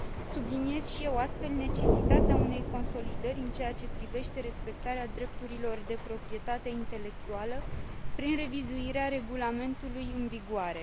Subliniez și eu, astfel, necesitatea unei consolidări în ceea ce privește respectarea drepturilor de proprietate intelectuală prin revizuirea regulamentului în vigoare.